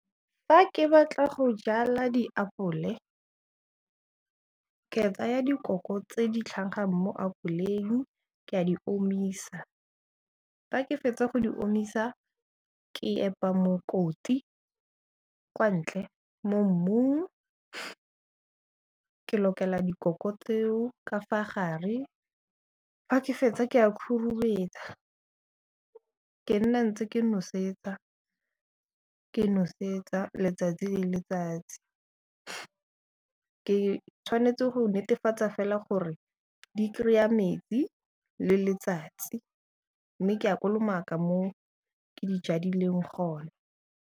Fa ke batla go jala diapole, ke tsaya dikoko tse di tlhagang mo apoleng, ke a di omisa, fa ke fetsa go di omisa, ke epa mokoti kwa ntle mo mmung, ke lokela dikoko tseo ka fa gare, fa ke fetsa ke a khurumetsa. Ke nna ntse ke nosetsa, ke nosetsa letsatsi le letsatsi. Ke tshwanetse go netefatsa fela gore di kry-a metsi le letsatsi, mme ke a kolomaka mo ke di jadileng gona.